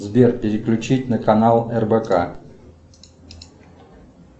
сбер переключить на канал рбк